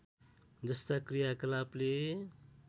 जस्ता क्रियाकलापले